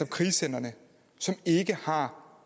krisecentrene som ikke har